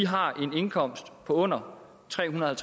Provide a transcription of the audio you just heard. har en indkomst på under trehundrede og